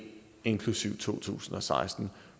inklusive to tusind og seksten